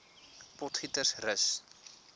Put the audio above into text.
potgietersrus